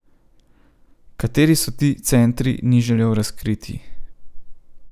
Kateri so ti centri, ni želel razkriti.